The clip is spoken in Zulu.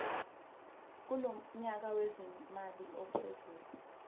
kulonyaka wezimali ophezulu